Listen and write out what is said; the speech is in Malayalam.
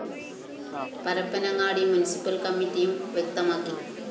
പരപ്പന്നങ്ങാടി മുന്‍സിപ്പല്‍ കമ്മറ്റിയും വ്യക്തമാക്കി